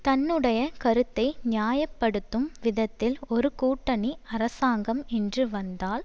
தன்னுடைய கருத்தை நியாய படுத்தும் விதத்தில் ஒரு கூட்டணி அரசாங்கம் என்று வந்தால்